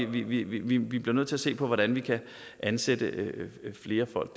vi vi bliver nødt til at se på hvordan vi kan ansætte flere folk